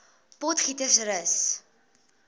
potgietersrus